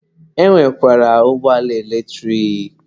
E nwekwara ụgbọala eletrik.